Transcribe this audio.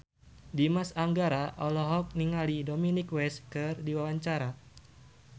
Dimas Anggara olohok ningali Dominic West keur diwawancara